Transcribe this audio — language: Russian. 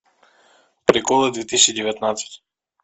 приколы две тысячи девятнадцать